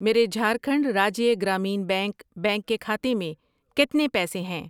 میرے Jharkhand Rajya Gramin Bank bank کے کھاتے میں کتنے پیسے ہیں؟